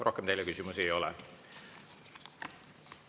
Rohkem teile küsimusi ei ole.